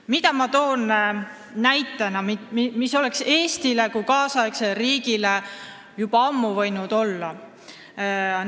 Mida ma toon näitena, mis oleks Eestis kui tänapäevases riigis juba ammu võinud olemas olla?